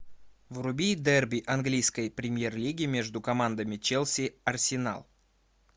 вруби дерби английской премьер лиги между командами челси арсенал